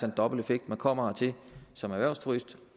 en dobbelt effekt man kommer hertil som erhvervsturist